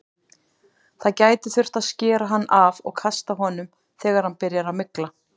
Það gæti þurft að skera hann af og kasta honum þegar hann byrjar að mygla.